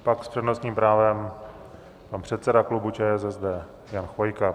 Pak s přednostním právem pan předseda klubu ČSSD Jan Chvojka.